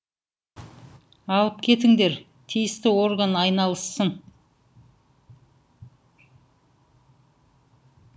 алып кетіңдер тиісті орган айналыссын